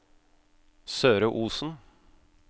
Søre Osen